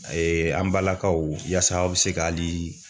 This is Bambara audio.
A ye an balakaw yaasa aw be se ka ali